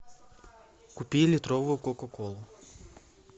купи литровую кока колу